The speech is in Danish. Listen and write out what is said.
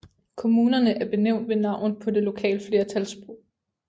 Kommunerne er benævnt ved navn på det lokale flertalssprog